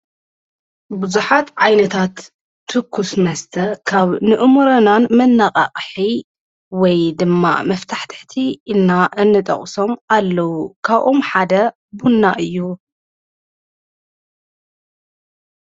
ብዙኃት ዓይነታት ትኩስ መስተ ካብ ንእሙርናን መነቓቕሒ ወይ ድማ መፍታሕተቲ ኢና እንጠቕሶም ኣለዉ ካብኡኦም ሓደ ቡና እዩ::